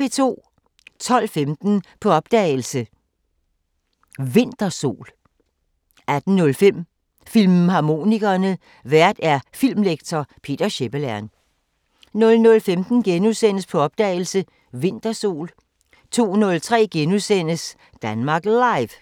12:15: På opdagelse – Vintersol 18:05: Filmharmonikerne: Vært filmlektor Peter Schepelern 00:15: På opdagelse – Vintersol * 02:03: Danmark Live *